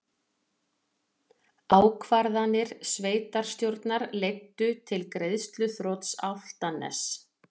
Ákvarðanir sveitarstjórnar leiddu til greiðsluþrots Álftaness